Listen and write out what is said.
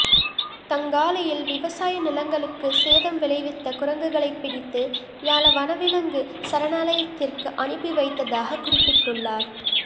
தங்காலையில் விவசாய நிலங்களுக்கு சேதம் விளைவித்த குரங்குகளை பிடித்து யால வனவிலங்கு சரணாலயத்திற்கு அனுப்பி வைத்ததாகக் குறிப்பிட்டுள்ளார்